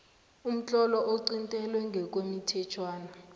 umtlolo oqintelwe ngokwemithetjhwana